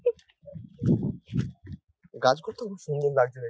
গাছ গুলো তো খুব সুন্দর লাগছে দেখতে |